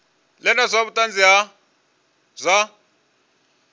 ḓe na vhuṱanzi ha zwa